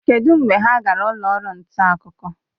Kedụ mgbe ha gara ụlọ ọrụ nta akụkọ?